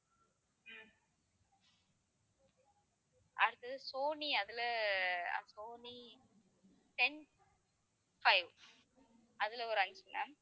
அடுத்தது சோனி அதுல Sony ten five அதுல ஒரு அஞ்சு ma'am